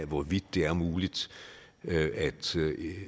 hvorvidt det er muligt at